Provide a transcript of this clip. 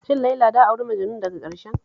Shin Laila da auri Majanun daga ƙarshen?